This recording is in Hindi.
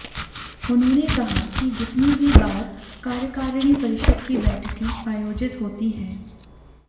उन्होंने कहा कि जितनी भी बार कार्यकारिणी परिषद की बैठकें आयोजित होती हैं